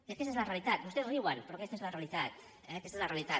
aquesta és la realitat vostès riuen però aquesta és la realitat eh aquesta és la realitat